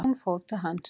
Hún fór til hans.